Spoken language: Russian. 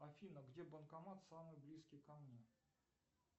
афина где банкомат самый близкий ко мне